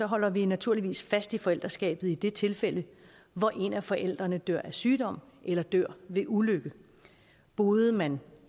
holder vi naturligvis fast i forældreskabet i det tilfælde hvor en af forældrene dør af en sygdom eller dør ved en ulykke boede man